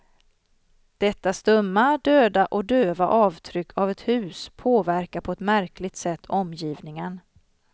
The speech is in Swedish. Detta stumma, döda och döva avtryck av ett hus påverkar på ett märkligt sätt omgivningen.